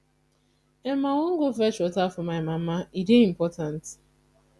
i wan go fetch water for my mama e dey important